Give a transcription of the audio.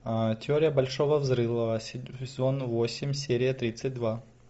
теория большого взрыва сезон восемь серия тридцать два